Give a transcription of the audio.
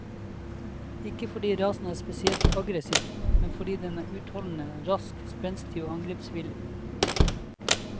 Ikke fordi rasen er spesielt aggressiv, men fordi den er utholdende, rask, spenstig og angrepsvillig.